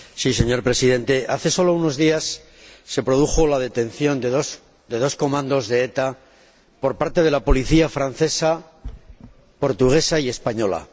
Señor Presidente, hace sólo unos días se produjo la detención de dos comandos de ETA por parte de las policías francesa, portuguesa y española.